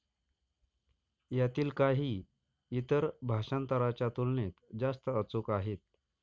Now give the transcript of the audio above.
यातील काही, इतर भाषांतरांच्या तुलनेत जास्त अचूक आहेत.